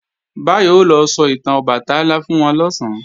Báyọ̀ o lọ sọ ìtàn Ọbàtálá fún wọn lọ̀sán